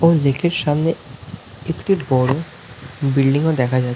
ওই লেক -এর সামনে একিট বড়ো বিল্ডিং -ও দেখা যা--